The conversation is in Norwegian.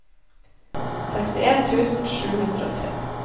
sekstien tusen sju hundre og tre